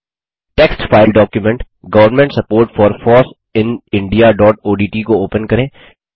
text file document government support for foss in indiaओडीटी को open करें